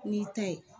N'i ta ye